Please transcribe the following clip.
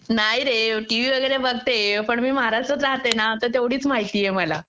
नाही रे टीव्ही वगैरे बघते पण मी महाराष्ट्रात राहते ना तर तेवढीच माहिती आहे मला